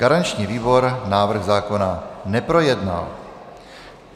Garanční výbor návrh zákona neprojednal.